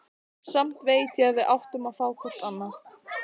Samt veit ég að við áttum að fá hvort annað.